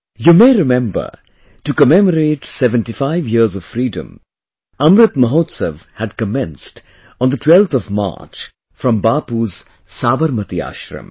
You may remember, to commemorate 75 years of Freedom, Amrit Mahotsav had commenced on the 12th of March from Bapu's Sabarmati Ashram